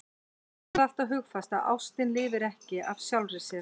Höfum það alltaf hugfast að ástin lifir ekki af sjálfri sér.